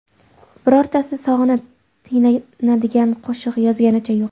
Birortasi sog‘inib tinglanadigan qo‘shiq yozganicha yo‘q.